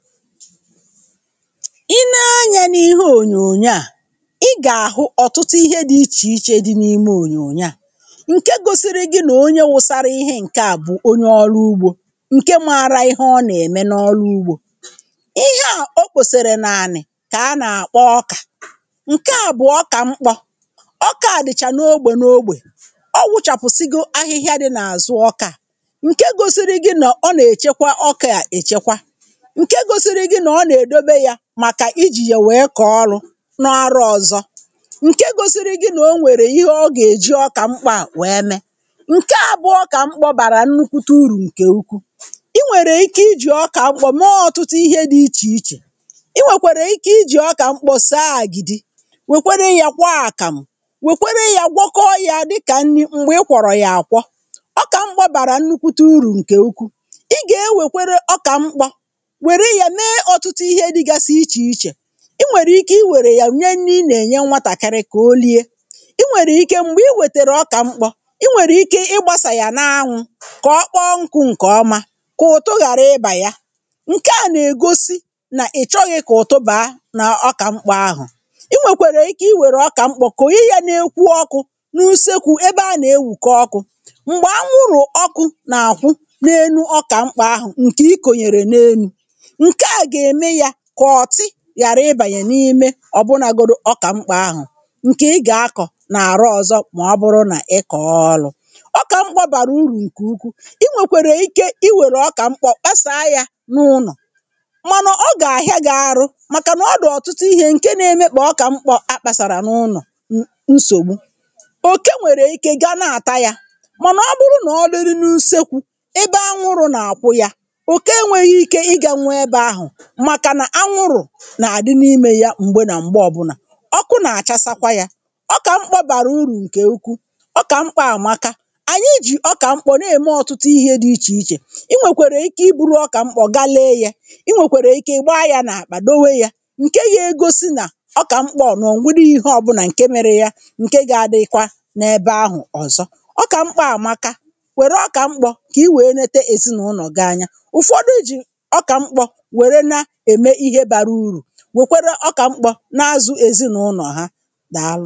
I nee anyȧ n’ihe ònyònyo à, i gà-àhụ ọtụtụ ihe dị ichè ichè di n’ime ònyònyo à, ǹke gosiri gị nà onye wụsara ihe ǹkè a bụ onye ọrụ ugbȯ ǹke mara ihe ọ nà-ème n’ọrụ ugbȯ. Ihe à o kposara nàànị kà a nà-àkpọ ọkà. Nke a bụ ọkà mkpọ, ọkà a dị chà n’ogbè n’ogbè, ọ wụchàpụ sịgo ahịhịa dị n’àzụ ọkà ǹke gosiri gị nọọ nà-èchekwa ọkà à èchekwa, nke gosiri gị nà o nà edobe ya, maka i jì yà wèe kọọ ọrụ nà-àrọ ọzọ. Nke gosiri gị nà o nwèrè ihe ọ gà-èji ọkà mkpọ à wèe mė. Nke à bụ ọkà mkpọ bàrà nnukwute urù ǹkè ukwu. I nwèrè ike i jì ọkà mkpọ mmee ọtụtụ ihe dị ichè ichè, i nwèkwèrè ike i jì ọkà mkpọ saa àgìdi, wèkwere ya kwoo àkàm, wèkwere ya gwọkọọ ya dịkà nni mgbè ị kwọrọ ya àkwọ. Ọkà mkpọ bàrà nnukwute urù ǹkè ukwu. Igà-ewèkwere ọkà mkpọ, nwèrè ya mme ọtụtụ ihe dịgasị iche iche. I wèrè ike i were yà nye nni i nà-ènye nwatàkari kà o liė. I nwèrè ike mgbè i wètèrè ọkà mkpọ, i nwèrè ike ị gbasà yà na-anwụ kà ọkpọọ nkụ ǹkè ọma kà ụtụ ghàra ịbà ya. Nke à nà-ègosi nà ị chọghị kà ụtụ bàa nà ọkà mkpọ ahụ. I nwèkwèrè ike i wèrè ọkà mkpọ kònyè ya na-ekwu ọkụ n’usekwu ebe a nà-ewùke ọkụ mgbè anwụrụ ọkụ nà-àhụ na-enu ọkà mkpọ ahụ ǹkè i kònyèrè na-enu. Nke à ga eme ya kà ọtị ghàra ịbànyè n’ime ọ bụnagodu ọkà mkpo ahụ ǹkè ị gà-akọ nà-àrọ ọzọ, mà ọbụrụ nà ị kọọ ọlụ. Ọkà mkpo bàrà urù nkè ukwu; i nwèkwèrè ike i wèrè ọkà mkpọ kpasaa yȧ n’ụnọ mànà ọ gà-àhịa gị arụ màkà nà ọ dị ọtụtụ ihė ǹke na-emekpà ọkà mkpọ akpàsàrà n’ụnọ n nsògbu. Okè nwèrè ike gȧ ana-àta yȧ mànà ọ bụrụ nà ọ dịrị n’usekwu ebe ȧ nwụrụ nà àkwụ yȧ, oke enweghị ike ì gà na-ebe ahu, makana ahụrụ nà-àdị n’imė ya mgbè nà mgbe ọbụnà ọkụ nà-àchasakwa yȧ. Ọkà mkpọ bàrà urù ǹkè ukwu, ọkà mkpọ àmaka. Anyị jì ọkà mkpọ nà-ème ọtụtụ ihe dị ichè ichè, i nwèkwèrè ike i buru ọkà mkpọgalee yà, ị nwèkwèrè ike ị gba yȧ nà-àkpà dewe yȧ ǹke ya egosi nà ọkà mkpọ nà-ọ nweghi ihe ọbụnà ǹke mere ya ǹke ga-adịkwa n’ebe ahụ ọzọ. Ọkà mkpọ àmaka. Wère ọkà mkpọ kà i wèe nete èzinụlọ gị anya. Ụ̀fọdụ jì ọkà mkpọ wère na-eme ihe bàrà urù, wèkwere ọkà mkpọ n’azụ̀ èzịnụlọ̀ ha. Dàalụ.